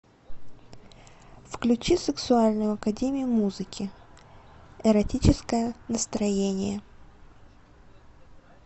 включи сексуальную академию музыки эротическое настроение